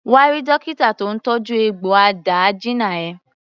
Come and see the doctor treating your wound.